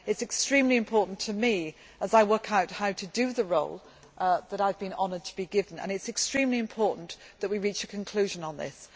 It is extremely important to me as I work out how to do the role that I have been honoured to be given. It is extremely important that we reach a conclusion on this.